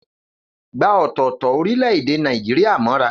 Gba ọ̀tọ̀ọ̀tọ̀ orílẹ̀-èdè Nàìjíríà mọ́ra.